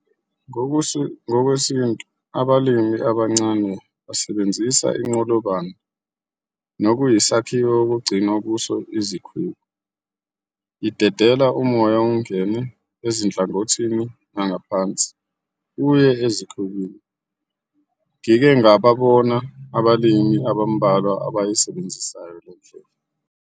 Ngokwesintu abalimi abancane basebenzisa iNqolobane nokuyisakhiwo okugcinwa kuso izikhwebu. Idedela umoya ungene ezinhlangothini nangaphansi uye ezikhwebini. Ngike ngababona abalimi abambalwa abayisebenzisayo le ndlela.